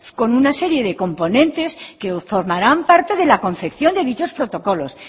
con una serie de componentes que formarán parte de la concepción de dichos protocolos